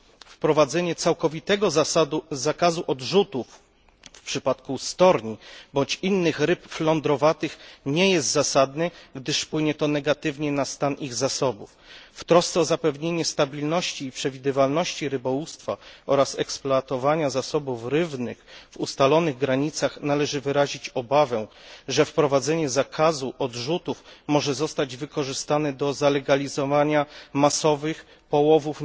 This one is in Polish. Wprowadzenie całkowitego zakazu odrzutów w przypadku storni bądź innych ryb flądrowatych nie jest zasadne, gdyż wpłynie to negatywnie na stan ich zasobów. W trosce o zapewnienie stabilności i przewidywalności rybołówstwa oraz eksploatowania zasobów rybnych w ustalonych granicach należy wyrazić obawę, że wprowadzenie zakazu odrzutów może zostać wykorzystane do zalegalizowania masowych połowów